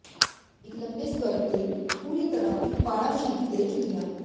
ਇੱਕ ਲੰਬੇ ਸਕਰਟ ਲਈ ਪੂਰੀ ਤਰ੍ਹਾਂ ਇੱਕ ਪਾੜਾ ਸ਼ੀਟ ਤੇ ਜੁੱਤੀਆਂ